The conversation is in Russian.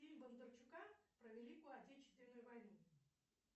фильм бондарчука про великую отечественную войну